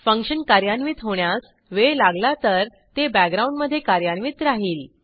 function कार्यान्वित होण्यास वेळ लागला तर ते बॅकग्राऊंडमधे कार्यान्वित राहिल